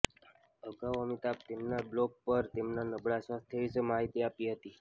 અગાઉ અમિતાભે તેમના બ્લોગ પર તેમના નબળા સ્વાસ્થ્ય વિશે માહિતી આપી હતી